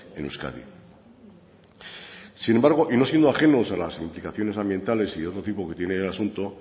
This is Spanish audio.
en euskadi sin embargo y no siendo ajenos a las implicaciones ambientales y de otro tipo que tiene el asunto